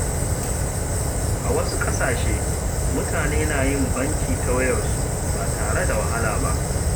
A wasu ƙasashe, mutane na yin banki ta wayarsu ba tare da wahala ba.